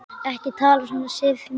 Ekki tala svona, Sif mín!